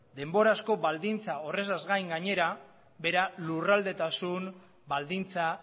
denbora asko baldintza horretaz gain gainera bera lurraldetasun baldintza